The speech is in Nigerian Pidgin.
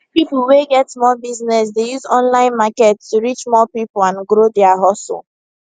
people wey get small business dey use online market to reach more people and grow their hustle